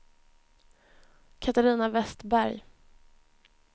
Catarina Vestberg